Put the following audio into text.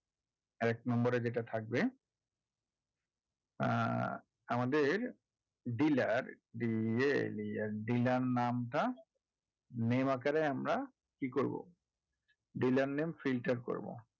এক নম্বর এ যেটা থাকবে আহ আমাদের dealer ইয়ে উম dealer নামটা menu আকারে আমরা কি করবো dealer name filter করবো